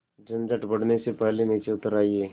झंझट बढ़ने से पहले नीचे उतर आइए